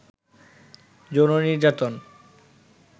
যৌন নির্যাতন